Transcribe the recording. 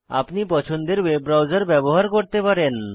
আপনি পছন্দের web browser ব্যবহার করতে পারেন